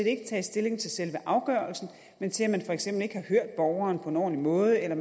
ikke taget stilling til selve afgørelsen men til at man for eksempel ikke har hørt borgeren på en ordentlig måde eller